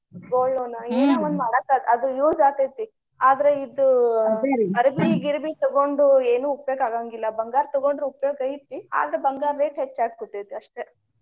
gold loan ಏನೊ ಒಂದ ಮಾಡಾಕ ಅದ use ಆಗ್ತೇತಿ. ಆದ್ರ ಇದು ಅರಬಿ ಗಿರಬಿ ತಗೊಂಡು ಏನು ಉಪಯೋಗ ಆಗಾಂಗಿಲ್ಲಾ. ಬಂಗಾರ ತಗೊಂಡ್ರ ಉಪಯೋಗ ಐತಿ ಆದ್ರ ಬಂಗಾರ rate ಹೆಚ್ಚ ಆಗಾಕತ್ತೇತಿ ಅಷ್ಟೆ.